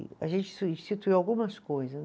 E a gente instituiu algumas coisas